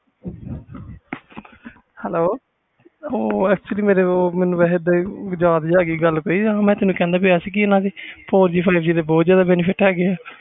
hello ਮੈਂ ਕਹਿੰਦਾ ਪਿਆ ਸੀ four G five G ਦੇ ਬਹੁਤ benefit ਆ